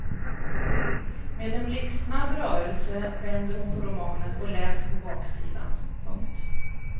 Med en blixtsnabb rörelse vänder hon på romanen och läser på baksidan. punkt